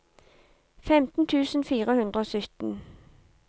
femten tusen fire hundre og sytten